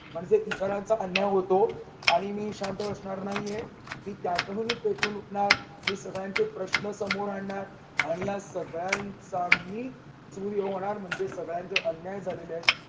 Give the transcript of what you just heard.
म्हणजे इतरांचे अन्याय होतो. आणि मी शांत बसणार नाहीये मी त्यातून पेटून उठणार, मी सगळ्यांचे प्रश्न समोर आणणार आणि या सगळ्यांचा अगदी होणार म्हणजे सगळ्यांच्या अन्याय झालेले आहेत